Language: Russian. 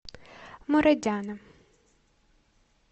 мурадяна